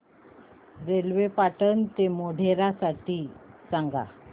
railway Patan ते मोढेरा साठी सांगा